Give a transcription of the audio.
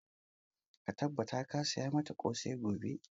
Ka tabbata ka saya mata ƙosai gobe!